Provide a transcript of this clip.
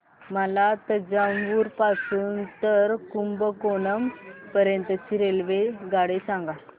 मला तंजावुर पासून तर कुंभकोणम पर्यंत ची रेल्वेगाडी सांगा